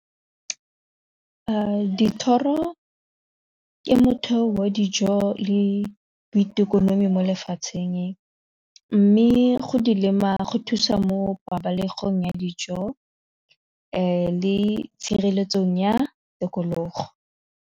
Dithoro ke motheo wa dijo le boitekonomi mo lefatsheng mme go di lema go thusa mo pabalesegong ya dijo le tshireletsong ya tikologo.